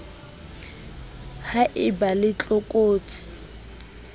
ha e ba le tlokotsi